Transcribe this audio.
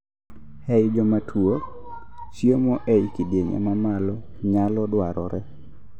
ei jomatuo, chiemo ei kidieny ma malo nyalo dwarore